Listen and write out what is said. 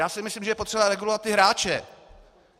Já si myslím, že je potřebovat regulovat ty hráče.